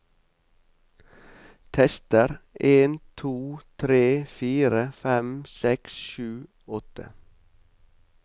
Tester en to tre fire fem seks sju åtte